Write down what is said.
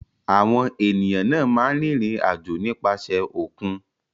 Àwọn ènìyàn náà máa ń rìnrìn-àjò nípasẹ̀ òkun.